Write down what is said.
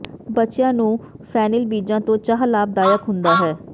ਬੱਚਿਆਂ ਨੂੰ ਫੈਨਿਲ ਬੀਜਾਂ ਤੋਂ ਚਾਹ ਲਾਭਦਾਇਕ ਹੁੰਦਾ ਹੈ